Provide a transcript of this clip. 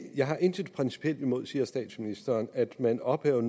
jeg har intet principielt imod siger statsministeren at man ophæver